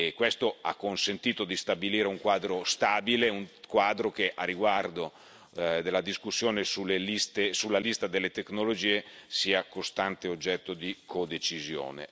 Questo ha consentito di stabilire un quadro stabile, un quadro che a riguardo della discussione sulla lista delle tecnologie sia costante oggetto di codecisione.